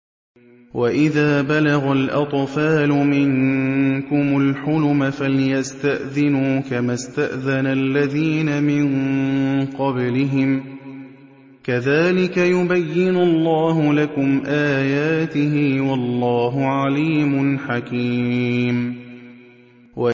وَإِذَا بَلَغَ الْأَطْفَالُ مِنكُمُ الْحُلُمَ فَلْيَسْتَأْذِنُوا كَمَا اسْتَأْذَنَ الَّذِينَ مِن قَبْلِهِمْ ۚ كَذَٰلِكَ يُبَيِّنُ اللَّهُ لَكُمْ آيَاتِهِ ۗ وَاللَّهُ عَلِيمٌ حَكِيمٌ